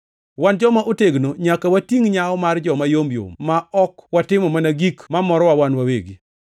Wan joma otegno nyaka watingʼ nyawo mar joma yomyom ma ok watimo mana gik mamorowa wan wawegi.